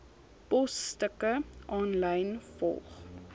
posstukke aanlyn volg